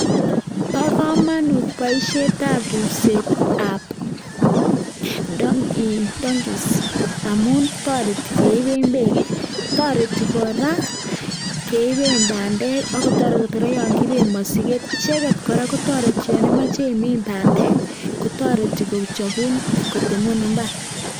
Bo komonut boisietab ripsetab donkeys, amun toreti keiben beek ii, toreti kora keiben bandek ak kotoreti kora yon kiiben mosiget. Icheget kora kotoreti yon imoche imin bandek, kotoreti kochobun kotemun mbar.